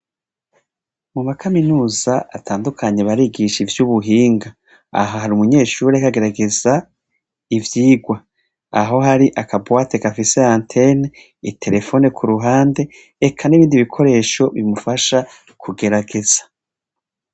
Mu makaminuza atandukanye barigisha ivy'ubuhinga aho hari umunyeshurire ariko agerageza ivyigwa aho hari akabuwate kafise anten itelefone ku ruhande reka n'ibindi bikoresho bimufasha kugerageza.